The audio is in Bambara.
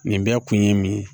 Nin bɛɛ kun ye min ye